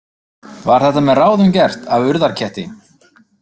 Var þetta með ráðum gert af Urðarketti?